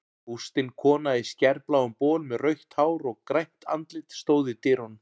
Bústin kona í skærbláum bol með rautt hár og grænt andlit stóð í dyrunum.